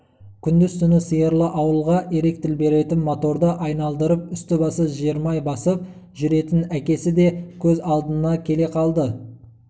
күңдіз-түні сиырлы ауылға электр беретін моторды айналдырып үсті-басы жермай сасып жүретін әкесі де көз алдына келе қалды